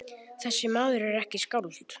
Þessi maður er ekki skáld.